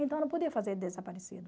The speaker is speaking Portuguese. Então não podia fazer de desaparecido.